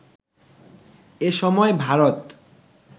এ সময় ভারত